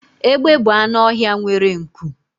egbe bu anụ ọhịa nwere nku